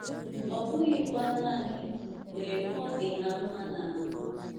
ọ bụghịkwa nanị mgbe ọ dị ha mma n’ahụ.